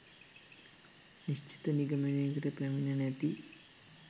නිශ්චිත නිගමනයකට පැමිණ නැති